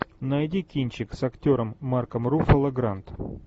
найди кинчик с актером марком руффало гранд